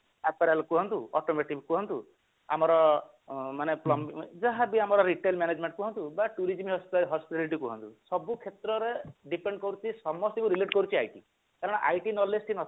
କୁହନ୍ତୁ automating କୁହନ୍ତୁ ଆମର ମାନେ ଯାହାବି ଆମର retail management କୁହନ୍ତୁ ବା tourism କୁହନ୍ତୁ ସବୁ କ୍ଷେତ୍ରରେ depend କରୁଛି ସମସ୍ତଙ୍କୁ relate କରୁଛି IT କାରଣ IT knowledge ଟି ନଥିଲେ